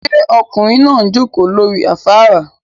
Ṣé ọkùnrin náà jókòó lórí afárá?